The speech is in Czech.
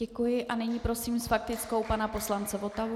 Děkuji a nyní prosím s faktickou pana poslance Votavu.